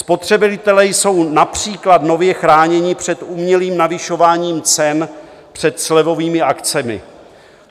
Spotřebitelé jsou například nově chráněni před umělým navyšováním cen před slevovými akcemi.